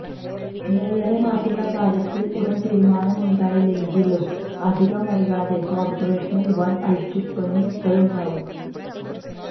മേയറെ മാറ്റുന്ന കാര്യത്തില് ഉടന് തീരുമാനമുണ്ടായിലെങ്കിലും അധികം വൈകാതെ കോര്പ്പറേഷനില് വന് അഴിച്ചുപണികളുണ്ടാവും